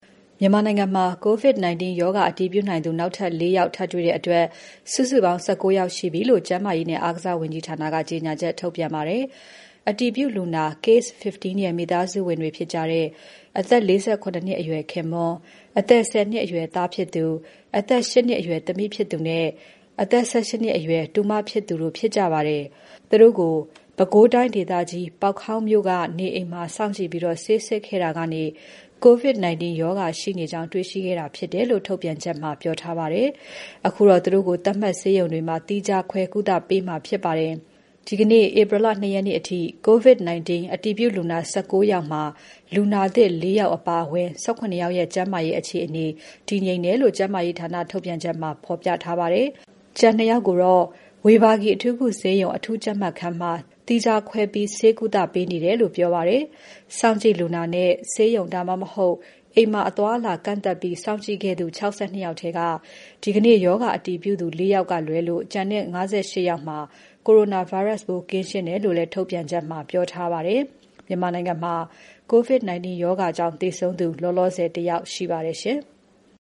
မြန်မာနိုင်ငံမှာ COVID-19 ရောဂါအတည်ပြုနိုင်သူ နောက်ထပ် ၄ ယောက် ထပ်တွေ့တဲ့အတွက် စုစုပေါင်း ၁၉ ယောက်ရှိပြီလို့ ကျန်းမာရေးနဲ့ အားကစားဝန်ကြီးဌာနက ပြောပါတယ်။ အတည်ပြုလူနာ Case - 15 ရဲ့ မိသားစုဝင်တွေဖြစ်ကြတဲ့ အသက် ၄၇ နှစ်အရွယ် ခင်ပွန်း၊ အသက် ၁၀ နှစ်ရွယ် သားဖြစ်သူ၊ အသက် ၈ နှစ်အရွယ်သမီးဖြစ်သူနဲ့ အဆက် ၁၈ နှစ်အရွယ် တူမဖြစ်သူ တို့ ဖြစ်ကြပါတယ်။ သူတို့ကို ပဲခူးတိုင်းဒေသကြီး ပေါက်ခေါင်းမြို့က နေအိမ်မှာ စောင့်ကြည့်ပြီး ဆေးစစ်ခဲ့တာကနေ COVID-19 ရောဂါရှိနေကြောင်း တေ့ွခဲ့တာဖြစ်တယ်လို့ ထုတ်ပြန်ချက်မှာ ပြောထားပါတယ်။ အခုတော့ သူတို့ကို သတ်မှတ်ဆေးရုံတွေမှာ သီးခြားခွဲကုသပေးမှာဖြစ်ပါတယ်။ ဒီကနေ့ ဧပြီ ၂ ရက်နေ့အထိ COVID-19 အတည်ပြုလူနာ ၁၉ ယောက်မှာ လူနာသစ် ၄ ယောက်အပါအဝင် ၁၇ ယောက်ရဲ့ ကျန်းမာရေးအခြေအနေ တည်ငြိမ်တယ်လို့ ကျန်းမာရေးဌာနထုတ်ပြန်ချက်မှာ ဖော်ပြထားပါတယ်။ ကျန် ၂ ယောက်ကတော့ ဝေဘာဂီ အထူးကုဆေးရုံ အထူးကြပ်မတ်ခန်းမှာ သီးခြားပြီး ဆေးကုပေးနေတယ်လို့လည်း ပြောပါတယ်။ စောင့်ကြည့်လူနာနဲ့ ဆေးရုံ ဒါမှ မဟုတ် အိမ်မှာ အသွား အလာကန့်သတ်ပြီး စောင့်ကြည့်ခဲ့သူ ၆၂ ယောက်ထဲက ဒီကနေ့ ရောဂါအတည်ပြုသူ ၄ ယောက်လွဲလို့ ကျန်တဲ့ ၅၈ ယောက်မှာ Coronavirus ပိုးကင်းရှင်းတယ်လို့လည်း ထုတ်ပြန်ချက်မှာ ပြောထားပါတယ်။ မြန်မာနိုင်ငံမှာ COVID 19 ရောဂါကြောင့် သေဆုံးသူလောလောဆယ် ၁ ယောက် ရှိပါတယ်ရှင်။